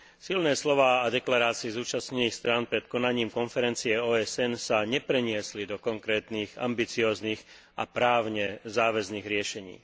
Silné slová a deklarácie zúčastnených strán pred konaním konferencie OSN sa nepreniesli do konkrétnych ambicióznych a právne záväzných riešení.